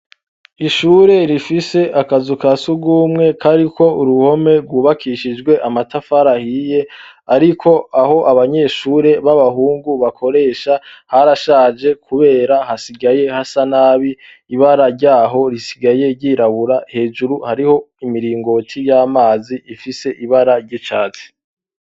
ishure rifise akazu ka sugumwe kariko uruhome rwubakishijwe amatafari ahiye ariko aho abanyeshure b'abahungu bakoresha harashaje kubera hasigaye hasa nabi ibara ryaho risigaye ryirabura hejuru hariho imiringoti y'amazi ifise ibara ryicatsi